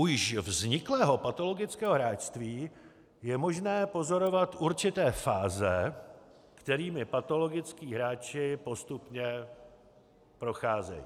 U již vzniklého patologického hráčství je možné pozorovat určité fáze, kterými patologičtí hráči postupně procházejí.